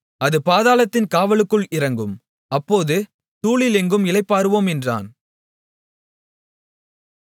அது பாதாளத்தின் காவலுக்குள் இறங்கும் அப்போது தூளில் எங்கும் இளைப்பாறுவோம் என்றான்